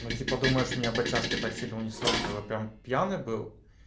ну типа думаешь меня б от чашки так сильно унесло чтобы прям пьяный был